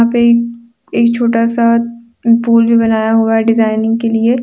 एक छोटा सा पूल भी बनाया हुआ डिजाइनिंग के लिए।